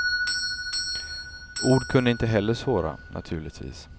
Ord kunde heller inte såra, naturligtvis.